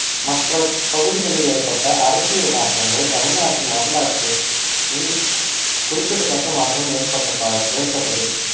மற்ற பகுதிகளில் ஏற்பட்ட அரசியல் மாற்றங்கள் தமிழ்நாட்டின் வரலாற்றில் குறிப்பிட்ட தக்க மாற்றம் ஏற்பட்டதால் ஏற்பட்டது